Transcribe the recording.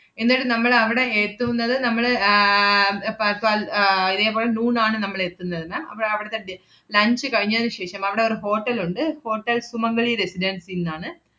എന്നട്ട് നമ്മളവടെ എത്തുന്നത് നമ്മള് ആഹ് ഏർ പ~ പല്‍~ ആഹ് ഇതേപോലെ noon ആണ് നമ്മളെത്തുന്നത് ma'am അവ~ അവടത്തെ di~ lunch കഴിഞ്ഞതിനു ശേഷം അവടെ ഒരു hotel ഒണ്ട്. ഹോട്ടൽ സുമംഗലി റെസിഡൻസിന്നാണ്.